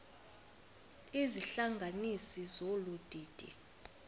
izihlanganisi zolu didi